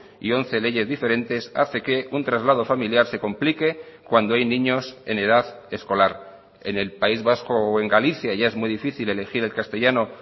y once leyes diferentes hace que un traslado familiar se complique cuando hay niños en edad escolar en el país vasco o en galicia ya es muy difícil elegir el castellano